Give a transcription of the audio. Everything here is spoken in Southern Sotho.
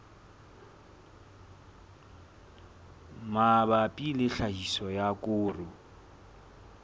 mabapi le tlhahiso ya koro